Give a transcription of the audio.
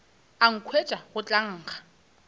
a nkhwetša go tla nkga